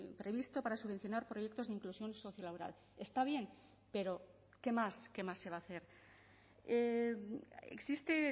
previsto para subvencionar proyectos de inclusión socio laboral está bien pero qué más qué más se va a hacer existe